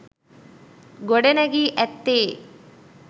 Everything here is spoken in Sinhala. ගොඩ නැගී ඇත්තේ